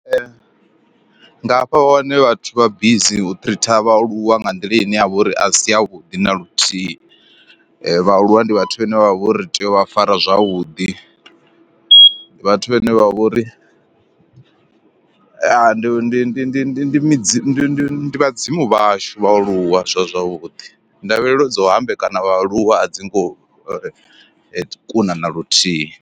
Nga hafha hone vhathu vha bizi u tritha vhaaluwa nga nḓila ine ya vha uri a si ya vhuḓi naluthihi, vhaaluwa ndi vhathu vhane vha vhori tea u vha fara zwavhuḓi, ndi vhathu vhane vha vhori ndi ndi ndi ndi ndi midzi ndi ndi vhadzimu vhashu vha aluwa sa zwavhuḓi, ndavhelelo dza u hambekanya vhaaluwa a dzi ngo kuna na luthihi.